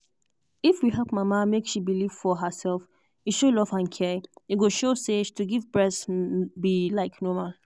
if we help mama make she believe for herself e show love and care e go show say to give breast be like normal.